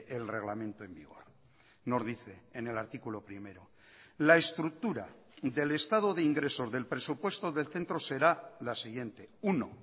el reglamento en vigor nos dice en el artículo primero la estructura del estado de ingresos del presupuesto del centro será la siguiente uno